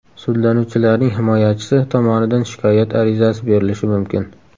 Sudlanuvchilarning himoyachisi tomonidan shikoyat arizasi berilishi mumkin.